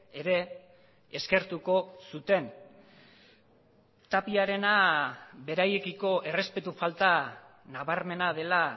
ere eskertuko zuten tapiarena beraiekiko errespetu falta nabarmena dela